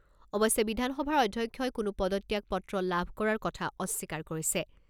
অৱশ্যে বিধানসভাৰ অধ্যক্ষই কোনো পদত্যাগপত্ৰ লাভ কৰাৰ কথা অস্বীকাৰ কৰিছে।